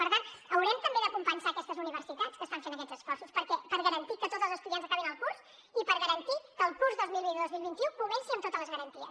per tant haurem també de compensar aquestes universitats que estan fent aquests esforços per garantir que tots els estudiants acabin el curs i per garantir que el curs dos mil vint dos mil vint u comenci amb totes les garanties